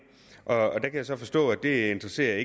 og der kan jeg så forstå at det ikke interesserer